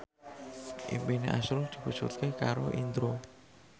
impine azrul diwujudke karo Indro